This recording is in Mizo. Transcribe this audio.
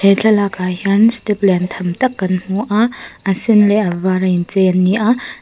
he thlalak ah hian step liantham tak kan hmuh a a sen leh a vara inchei an ni a.